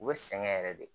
U bɛ sɛgɛn yɛrɛ de